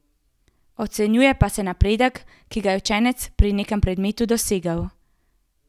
Ocenjuje pa se napredek, ki ga je učenec pri nekem predmetu dosegel.